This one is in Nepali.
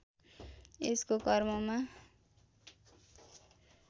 यसको कर्ममा